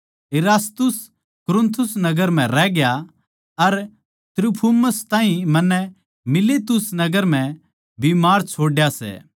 इरास्तुस कुरिन्थुस नगर म्ह रह गया अर त्रुफिमुस ताहीं मन्नै मीलेतुस नगर म्ह बीमार छोड्या सै